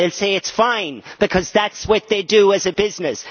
They will say it is fine, because that is what they do as a business.